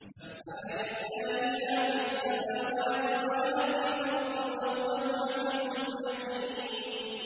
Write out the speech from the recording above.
سَبَّحَ لِلَّهِ مَا فِي السَّمَاوَاتِ وَمَا فِي الْأَرْضِ ۖ وَهُوَ الْعَزِيزُ الْحَكِيمُ